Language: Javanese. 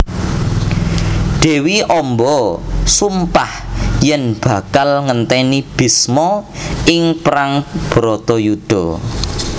Dewi Amba sumpah yen bakal ngenteni Bisma ing perang Baratayuda